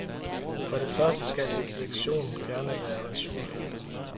For det første skal et leksikon gerne være ajourført.